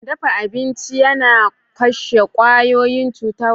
Dafa abinci yana kashe kwayoyin cuta masu illa ga jiki.